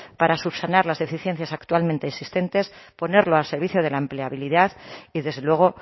para subsanar las deficiencias actualmente existentes ponerlo al servicio de la empleabilidad y desde luego